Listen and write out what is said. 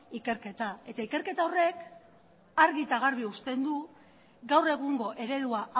ikerketa ikerketa horrek argi eta garbi uzten du gaur egungo eredua